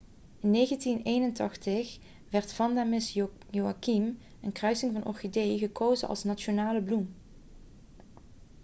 in 1981 werd vanda miss joaquim een kruising van orchideeën gekozen als nationale bloem